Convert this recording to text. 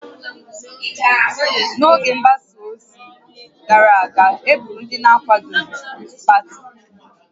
N'oge mgbasa ozi gara aga, e gburu ndị na-akwadoghị otu pati